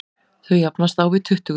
Þau jafnast á við tuttugu.